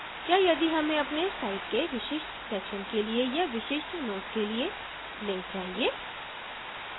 क्या यदि हमें अपने site के विशिष्ट section के लिए या विशिष्ट node के लिए link चाहिए